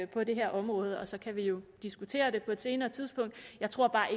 på det her område så kan vi jo diskutere det på et senere tidspunkt jeg tror bare